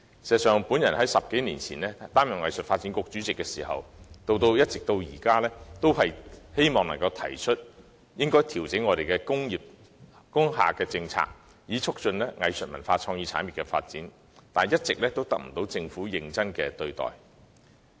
事實上，自我10多年前擔任藝術發展局主席以來，一直向政府提出調整工廈政策的建議，旨在促進藝術文化創意產業的發展，卻一直未獲政府認真看待。